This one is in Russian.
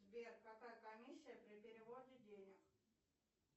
сбер какая комиссия при переводе денег